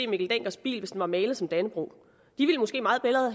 mikkel denckers bil hvis den var malet som dannebrog de ville måske meget hellere